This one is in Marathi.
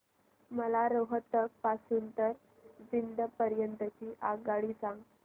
मला रोहतक पासून तर जिंद पर्यंत ची आगगाडी सांगा